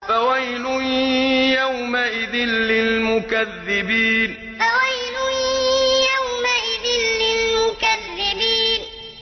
فَوَيْلٌ يَوْمَئِذٍ لِّلْمُكَذِّبِينَ فَوَيْلٌ يَوْمَئِذٍ لِّلْمُكَذِّبِينَ